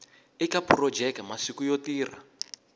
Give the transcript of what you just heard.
eka phurojeke masiku yo tirha